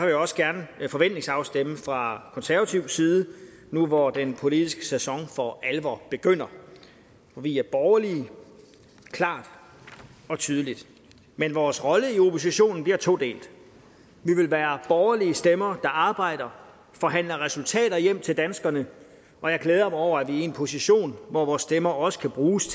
jeg også gerne forventningsafstemme fra konservativ side nu hvor den politiske sæson for alvor begynder vi er borgerlige klart og tydeligt men vores rolle i opposition bliver todelt vi vil være borgerlige stemmer der arbejder og forhandler resultater hjem til danskerne og jeg glæder mig over at vi er i en position hvor vores stemmer også kan bruges